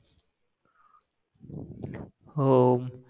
हो